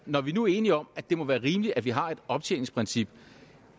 når vi nu er enige om at det må være rimeligt at vi har et optjeningsprincip